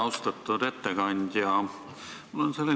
Austatud ettekandja!